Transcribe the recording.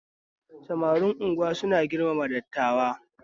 Samarin Unguwa suna girmama dattawa